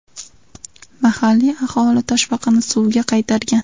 Mahalliy aholi toshbaqani suvga qaytargan.